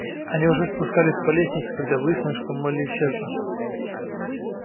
они уже спускались по лестнице когда выяснилось что молли исчезла